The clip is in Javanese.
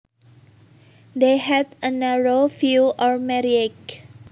They had a narrow view on marriage